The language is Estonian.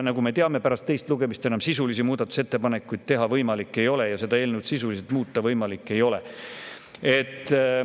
Nagu me teame, pärast teist lugemist enam sisulisi muudatusettepanekuid teha võimalik ei ole ja eelnõu sisuliselt muuta võimalik ei ole.